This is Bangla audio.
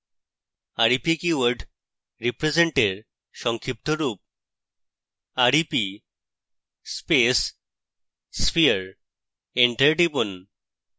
rep keyword represent এর সংক্ষিপ্ত rep rep space sphere; enter টিপুন